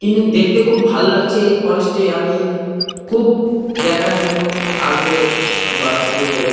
কিন্তু দেখতে খুব ভালো লাগছে এই ফরেস্ট -এ আমি-ই খুব দেখার জন্য আগ্রহ হয়ে বা অস্থির হয়ে আ--